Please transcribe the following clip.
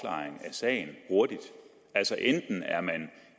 sagen altså enten er man